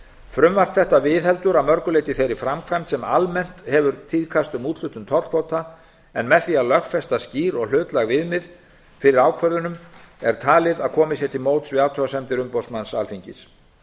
frumvarp þetta viðheldur að mörgu leyti þeirri framkvæmd sem almennt hefur tíðkast um úthlutun tollkvóta en með því að lögfesta skýr og hlutlæg viðmið fyrir ákvörðunum er talið að komið sé til móts við athugasemdir umboðsmanns alþingis